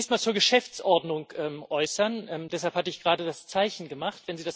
Ich möchte mich zunächst zur Geschäftsordnung äußern. Deshalb hatte ich gerade das Zeichen gemacht.